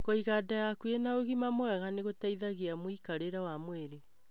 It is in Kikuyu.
Kũiga nda yaku ĩna ũgima mwega nĩ gũteithagia mwĩkarĩre wa mwirĩ.